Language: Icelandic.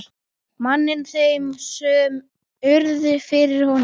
manninn þeim sem urðu fyrir honum.